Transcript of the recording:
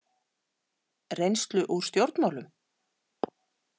Reynslu úr stjórnmálum?